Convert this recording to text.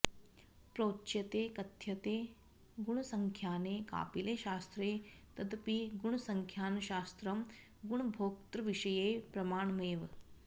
प्रोच्यते कथ्यते गुणसंख्याने कापिले शास्त्रे तदपि गुणसंख्यानशास्त्रं गुणभोक्तृविषये प्रमाणमेव